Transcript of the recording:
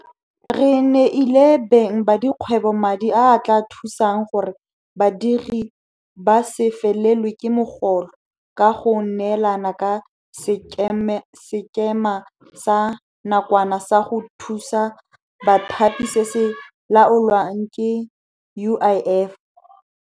Re neile beng ba dikgwebo madi a a tla thusang gore badiri ba se felelwe ke mogolo ka go neelana ka Sekema sa Nakwana sa go Thusa Bathapi se se laolwang ke UIF.